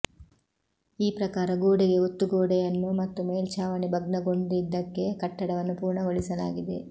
ಈ ಪ್ರಕಾರ ಗೋಡೆಗೆ ಒತ್ತು ಗೋಡೆಯನ್ನು ಮತ್ತು ಮೇಲ್ಛಾವಣೆ ಭಗ್ನಗೊಂಡಿದ್ದಕ್ಕೆ ಕಟ್ಟಡವನ್ನು ಪೂರ್ಣಗೊಳಿಸಲಾಗಿದೆ